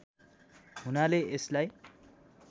हुनाले यसलाई